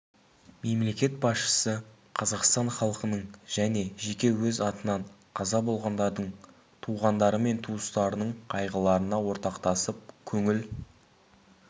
мемлекет басшысы қазақстан халқының және жеке өз атынан қаза болғандардың туғандары мен туыстарының қайғыларына ортақтасып көңіл